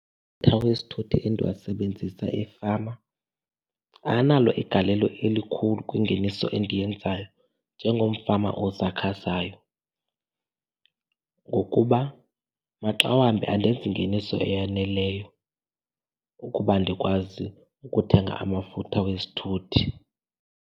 wesithuthi endiwasebenzisa efama analo igalelo elikhulu kwingeniso endiyenzayo njengomfama osakhasayo ngokuba maxa wambi andenzi ngeniso eyaneleyo ukuba ndikwazi ukuthenga amafutha wezithuthi.